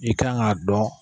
I kan k'a dɔn